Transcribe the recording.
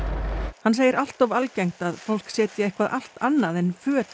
hann segir allt of algengt að fólk setji eitthvað allt annað en föt í